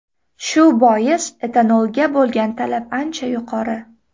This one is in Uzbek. Shu bois, etanolga bo‘lgan talab ancha yuqori.